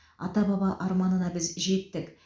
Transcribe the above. ата баба арманына біз жеттік